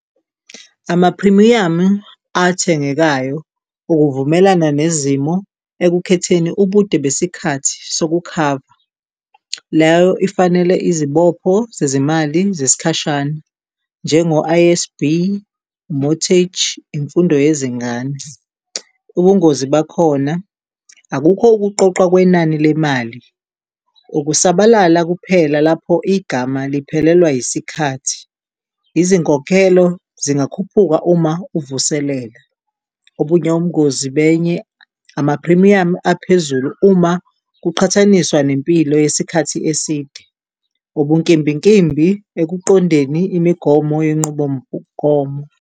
Amaphrimiyamu athengekayo ukuvumelana nezimo ekukhetheni ubude besikhathi sokukhava leyo ifanele izibopho zezimali zesikhashana njengo I_S_B Mortage, imfundo yezingane. Ubungozi bakhona akukho ukuqoqwa kwenani lemali, ukusabalala kuphela lapho igama liphelelwa yisikhathi. Izinkokhelo zingakhuphuka uma uvuselela obunye ubungozi benye amaphrimiyamu aphezulu uma kuqhathaniswa nempilo yesikhathi eside, ubunkimbinkimbi ekuqondeni imigomo yenqubomgomo.